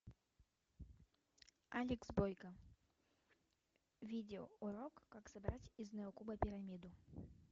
алекс бойко видеоурок как собрать из неокуба пирамиду